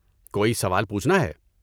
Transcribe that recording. کوئی سوال پوچھنا ہے؟